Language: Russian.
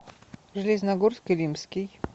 железногорск илимский